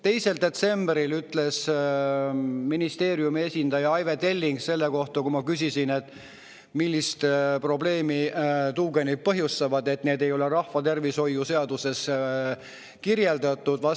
2. detsembril ütles ministeeriumi esindaja Aive Telling, kui ma küsisin, milliseid probleeme tuugenid põhjustavad, et neid ei ole rahvatervishoiu seaduses kirjeldatud.